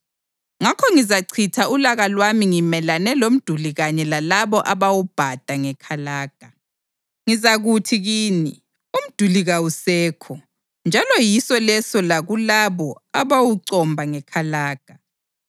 Ngakho ngizachitha ulaka lwami ngimelane lomduli kanye lalabo abawubhada ngekalaga. Ngizakuthi kini, “Umduli kawusekho njalo yiso leso lakulabo abawucomba ngekalaga,